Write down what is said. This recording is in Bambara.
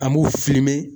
An b'u filime